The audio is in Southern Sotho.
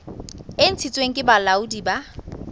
e ntshitsweng ke bolaodi bo